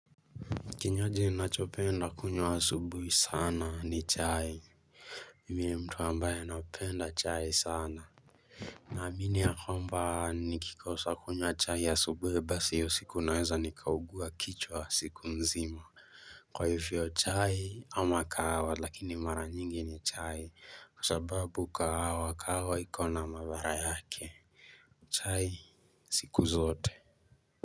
Kinywaji ninachopenda kunywa asubuhi sana ni chai. Mimi ni mtu ambaye anapenda chai sana Naamini ya kwamba nikikosa kunywa chai asubuhi basi hiyo siku naweza nikaugua kichwa siku nzima. Kwa hivyo chai ama kahawa lakini mara nyingi ni chai kwa sababu kahawa, kahawa iko na madhara yake chai siku zote.